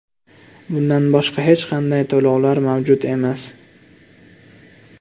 Bundan boshqa hech qanday to‘lovlar mavjud emas.